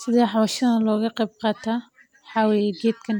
Sidee howshan looga qeyb qataa, waxaa weye heedkan